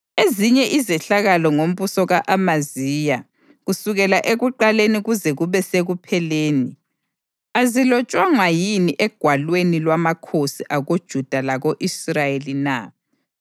Ezinye izehlakalo ngombuso ka-Amaziya, kusukela ekuqaleni kuze kube sekupheleni, azilotshwanga yini egwalweni lwamakhosi akoJuda lako-Israyeli na?